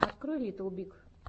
открой литтл биг